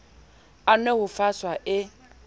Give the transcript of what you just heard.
a nwe ho faswa e